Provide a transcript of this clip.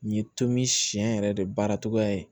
Nin ye tomi siɲɛ yɛrɛ de baara cogoya ye